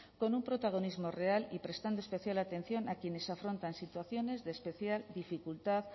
con un protagonismo real y prestando especial atención a quienes afrontan situaciones de especial dificultad